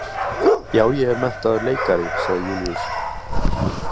Já, ég er menntaður leikari, sagði Júlíus.